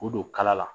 K'u don kala la